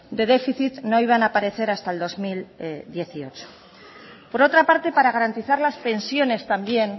de déficit no iban a aparecer hasta el dos mil dieciocho por otra parte para garantizar las pensiones también